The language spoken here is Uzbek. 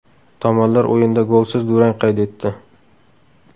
Tomonlar o‘yinda golsiz durang qayd etdi.